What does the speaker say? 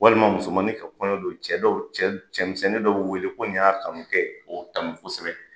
Walima musomanin ka kɔɲɔ don cɛ dɔw cɛmisɛn dɔw be wele ko nin y'a kanu kɛ ye ko tanu kosɛbɛ.